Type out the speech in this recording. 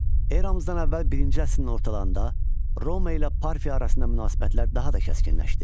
Eramızdan əvvəl birinci əsrin ortalarında Roma ilə Parfiya arasında münasibətlər daha da kəskinləşdi.